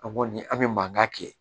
An kɔni an bɛ mankan kɛ